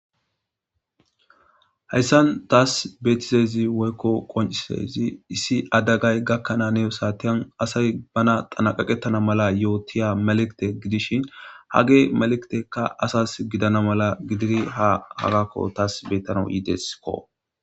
heyssan taas beetizezi woykko qoncisezi issi adagay gakkanaaneo saatiyan asay bana xanaqaqettana mala yootiya maliqite gidishin hage malekitekka asas gidana mala gidiri ha hagakko taas beyttana yiideskko